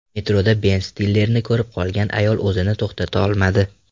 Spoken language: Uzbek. Metroda Ben Stillerni ko‘rib qolgan ayol o‘zini to‘xtata olmadi .